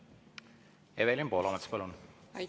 Evelin Poolamets, palun!